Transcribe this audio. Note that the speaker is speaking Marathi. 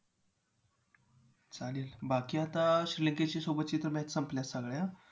चालेल बाकी आता श्रीलंकेच्या सोबतच्या तर match संपल्यात सगळ्या